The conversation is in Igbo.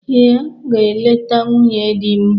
Ee, aga m eleta nwunye di m.